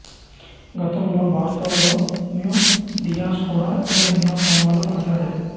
గతంలో Bartholomew Dias కూడా ఇలా ఎన్నో స్తంభాలు పాతాడు